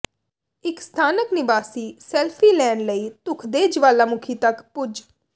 ਇਕ ਸਥਾਨਕ ਨਿਵਾਸੀ ਸੈਲਫੀ ਲੈਣ ਲਈ ਧੁਖਦੇ ਜਵਾਲਾਮੁਖੀ ਤਕ ਪੁੱਜ